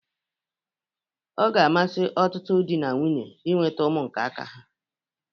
Ọ ga-amasi ọtụtụ dị na nwunye inweta ụmụ nke aka ha.